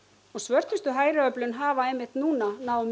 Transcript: og svörtustu hafa nú náð